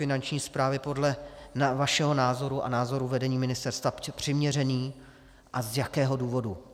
Finanční správy podle vašeho názoru a názoru vedení ministerstva přiměřený a z jakého důvodu?